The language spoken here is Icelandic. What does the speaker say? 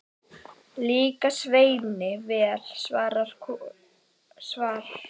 Líkaði Sveini vel svar konunnar sem fór fram í eldhús að matbúa handa þeim spað.